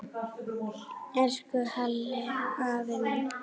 Elsku Halli afi minn.